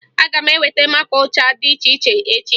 Aga m eweta maka ụcha dị iche iche echi